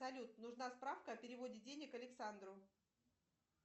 салют нужна справка о переводе денег александру